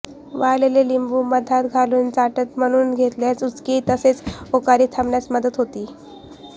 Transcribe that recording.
वाळलेले लिंबू मधात घालून चाटण म्हणून घेतल्यास उचकी तसेच ओकारी थांबण्यास मदत होते